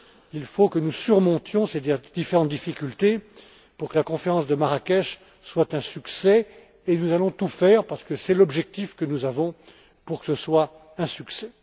Il faut que nous surmontions ces différentes difficultés pour que la conférence de Marrakech soit un succès, et nous allons tout faire, parce que c'est l'objectif que nous avons, pour que ce soit un succès.